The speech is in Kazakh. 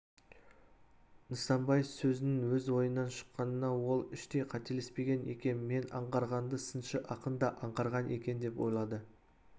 нысанбай сөзінің өз ойынан шыққанына ол іштей қателеспеген екем мен аңғарғанды сыншы ақын да аңғарған екен деп ойлады